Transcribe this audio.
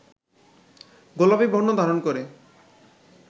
গোলাপী বর্ণ ধারণ করে